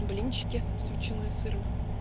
блинчики с ветчиной и сыром